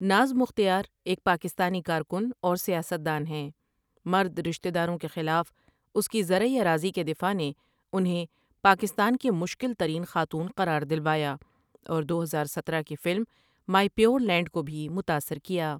ناز مختیارایک پاکستانی کارکن اور سیاستدان ہیں مرد رشتے داروں کے خلاف اس کی زرعی اراضی کے دفاع نے انہیں پاکستان کی مشکل ترین خاتون قرار دلوایا اور دو ہزار سترہ کی فلم مائی پیور لینڈ کو بھی متاثر کیا ۔